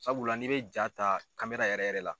Sabula n'i bɛ jaa ta yɛrɛ yɛrɛ la.